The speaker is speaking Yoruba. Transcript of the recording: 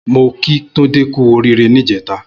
Mó kí Tunde kù óriré nijètá